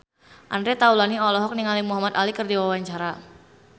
Andre Taulany olohok ningali Muhamad Ali keur diwawancara